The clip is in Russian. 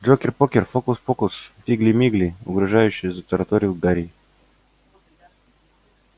джокер-покер фокус-покус фигли-мигли угрожающе затараторил гарри